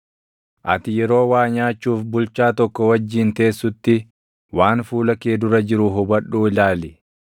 Ati yeroo waa nyaachuuf bulchaa tokko wajjin teessutti, waan fuula kee dura jiru hubadhuu ilaali;